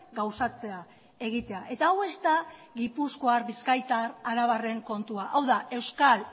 gauzatzea egitea eta hau ez da gipuzkoar bizkaitar arabarren kontua hau da euskal